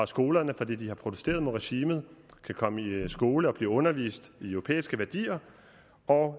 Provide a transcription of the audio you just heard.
skolerne fordi de har protesteret mod regimet kan komme i skole og blive undervist i europæiske værdier og